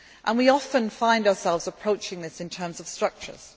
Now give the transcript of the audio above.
better. We often find ourselves approaching this in terms of structures.